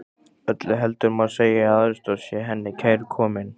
Öllu heldur má segja að aðstoð sé henni kærkomin.